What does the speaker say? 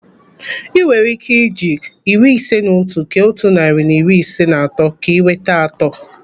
Ị nwere ike eji iri ise na otu kee otu narị na iri ise na atọ ka enweta atọ.